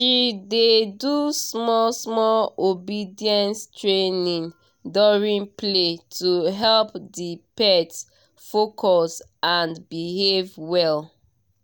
she dey do small small obedience training during play to help the pet focus and behave well